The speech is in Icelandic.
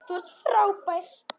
Þú ert frábær!